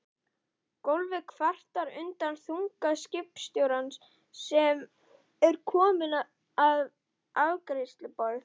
Gólfið kvartar undan þunga skipstjórans sem er kominn að afgreiðsluborð